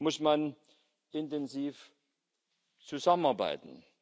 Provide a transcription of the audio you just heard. muss man intensiv zusammenarbeiten.